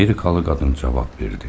Amerikalı qadın cavab verdi.